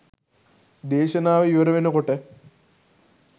දේශනාව ඉවර වෙනකොට